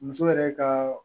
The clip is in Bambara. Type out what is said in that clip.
Muso yɛrɛ ka